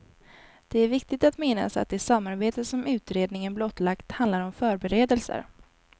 Det är viktigt att minnas att det samarbete som utredningen blottlagt handlar om förberedelser.